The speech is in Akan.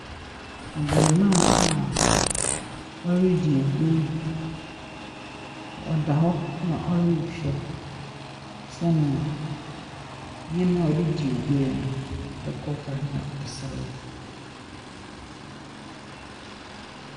Abarima a ɔredi agoru, ɔda hɔ na ɔrehwɛ sɛnea nneɛma a ɔde redi agoru no, sɛdeɛ ɛrekɔ fa, na ɔserew.